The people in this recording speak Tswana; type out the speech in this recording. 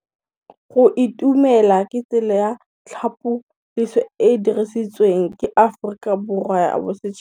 Go itumela ke tsela ya tlhapolisô e e dirisitsweng ke Aforika Borwa ya Bosetšhaba.